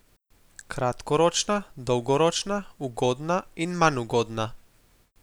Kratkoročna, dolgoročna, ugodna in manj ugodna.